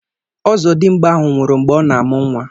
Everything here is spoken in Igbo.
ọzọdimgba ahụ nwụrụ mgbe ọ na-amụ nwa